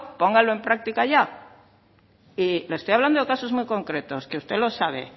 póngalo en práctica ya le estoy hablando de casos muy concretos que usted lo sabe